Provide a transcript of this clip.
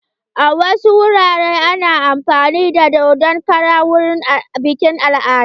A wasu wuraren ana amfani da dodon kara wurin biƙin al'adu.